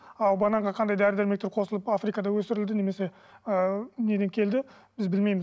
ал бананға қандай дәрі дәрмектер қосылып африкада өсірілді немесе ы неден келді біз білмейміз